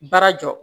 Baara jɔ